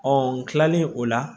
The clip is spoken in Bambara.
n kilalen o la